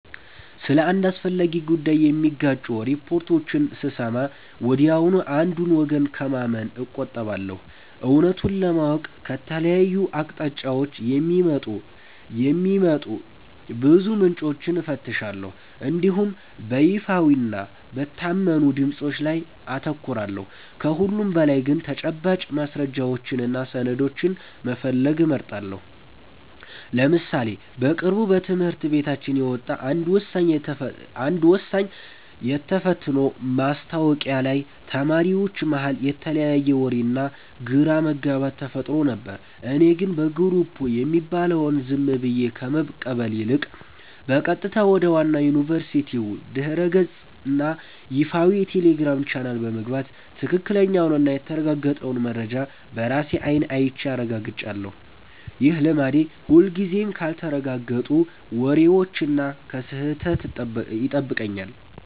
ስለ አንድ አስፈላጊ ጉዳይ የሚጋጩ ሪፖርቶችን ስሰማ ወዲያውኑ አንዱን ወገን ከማመን እቆጠባለሁ። እውነቱን ለማወቅ ከተለያዩ አቅጣጫዎች የሚወጡ ብዙ ምንጮችን እፈትሻለሁ እንዲሁም በይፋዊና በታመኑ ድምፆች ላይ አተኩራለሁ። ከሁሉም በላይ ግን ተጨባጭ ማስረጃዎችንና ሰነዶችን መፈለግ እመርጣለሁ። ለምሳሌ በቅርቡ በትምህርት ቤታችን የወጣ አንድ ወሳኝ የተፈትኖ ማስታወቂያ ላይ ተማሪዎች መሃል የተለያየ ወሬና ግራ መጋባት ተፈጥሮ ነበር። እኔ ግን በየግሩፑ የሚባለውን ዝም ብዬ ከመቀበል ይልቅ፣ በቀጥታ ወደ ዋናው የዩኒቨርሲቲው ድረ-ገጽና ይፋዊ የቴሌግራም ቻናል በመግባት ትክክለኛውንና የተረጋገጠውን መረጃ በራሴ አይን አይቼ አረጋግጫለሁ። ይህ ልማዴ ሁልጊዜም ካልተረጋገጡ ወሬዎችና ከስህተት ይጠብቀኛል።